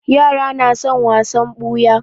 Yara na son wasan ɓuya